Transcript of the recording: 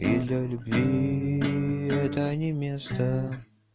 и для любви это не место